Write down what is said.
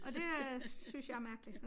Og det øh synes jeg er mærkelig